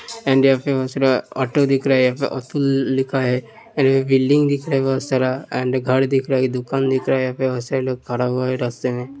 And यहाँ पे auto दिख रहा है। यहाँ पे अतुल लिखा है। बिल्डिंग दिख रहा है बोहोत सारा एंड घड़ दिख रहा है। एक दुकान दिख रहा है। यहाँ पे लोग खड़ा हुआ है रस्ते में।